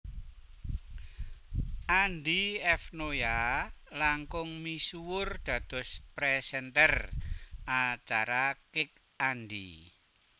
Andy F Noya langkung misuwur dados présènter acara Kick Andy